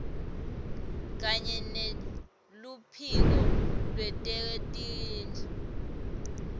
kanye neluphiko lwetetindlu